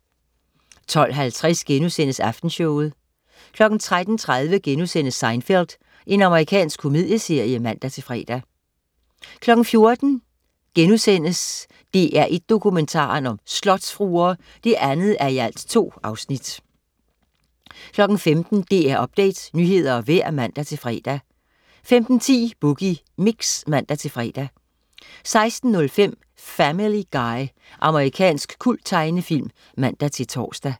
12.50 Aftenshowet* 13.30 Seinfeld.* Amerikansk komedieserie (man-fre) 14.00 DR1 Dokumentaren: Slotsfruer* 2:2 15.00 DR Update, nyheder og vejr (man-fre) 15.10 Boogie Mix (man-fre) 16.05 Family Guy. Amerikansk kulttegnefilm (man-tors)